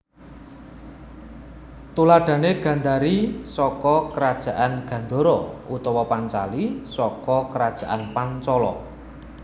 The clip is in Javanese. Tuladhane Gandari saka Kerajaan Gandhara utawa Pancali saka Kerajaan Pancala